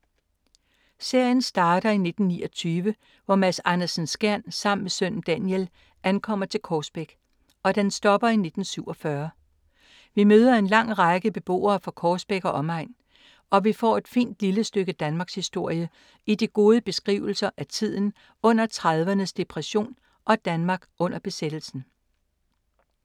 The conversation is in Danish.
Serien starter i 1929, hvor Mads Andersen-Skjern, sammen med sønnen Daniel, ankommer til Korsbæk, og den stopper i 1947. Vi møder en lang række beboere fra Korsbæk og omegn, og vi får et fint lille stykke danmarkshistorie i de gode beskrivelser af tiden under 1930’ernes depression og Danmark under besættelsen.